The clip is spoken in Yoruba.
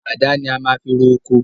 Àdá ni a maá fi ro ọkọ